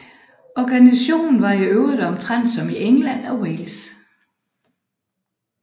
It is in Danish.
Organisationen var i øvrigt omtrent som i England og Wales